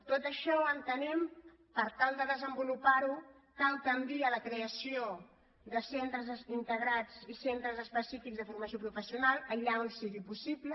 tot això entenem per tal de desenvolupar ho que cal tendir a la creació de centres integrats i centres específics de formació professional allà on sigui possible